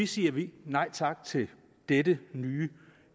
siger vi nej tak til dette nye